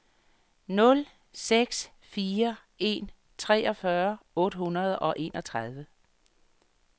nul seks fire en treogfyrre otte hundrede og enogtredive